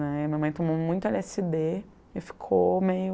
Aí minha mãe tomou muito ele esse dê e ficou meio...